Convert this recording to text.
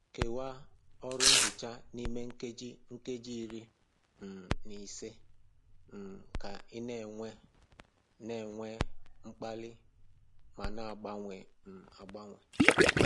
Kewaa ọrụ nhicha n'ime nkeji nkeji iri um na ise um ka ị na-enwe na-enwe mkpali ma na-agbanwe um agbanwe.